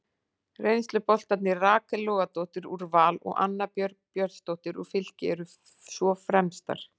Reynsluboltarnir Rakel Logadóttir úr Val og Anna Björg Björnsdóttir úr Fylki eru svo fremstar.